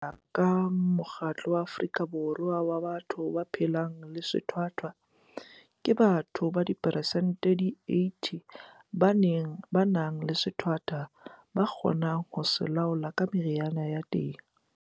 Ka ho ya ka Mokgatlo wa Afrika Borwa wa Batho ba phelang le Sethwathwa, ke batho ba persente di 80 ba nang le sethwathwa ba kgonang ho se laola ka meriana ya teng.